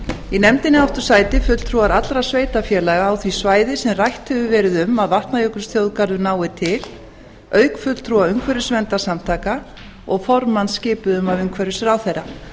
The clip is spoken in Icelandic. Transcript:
í nefndinni áttu sæti fulltrúar allra sveitarfélaga á því svæði sem rætt hefur verið um að vatnajökulsþjóðgarður nái til auk fulltrúa umhverfisverndarsamtaka og formanns skipuðum af umhverfisráðherra